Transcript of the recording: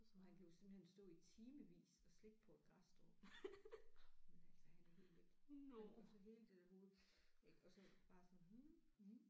Og han kan jo simpelthen stå i timevis og slikke på et græsstrå jamen altså han er helt væk han og så hele det der hoved ik og så bare sådan